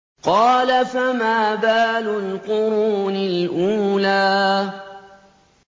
قَالَ فَمَا بَالُ الْقُرُونِ الْأُولَىٰ